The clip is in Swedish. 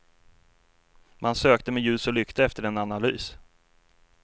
Man sökte med ljus och lykta efter en analys.